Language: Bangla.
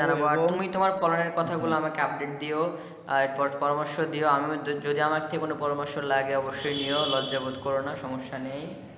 জানাবো আর তুমি তোমার ফলনের কথা আমাকে update দিও আর পরামর্শ আমিও যদি আমার থেকেও যদি কোনো পরামর্শ লাগে অবশ্যই নিও লজ্জা বোধ করোনা সমস্যা নেই।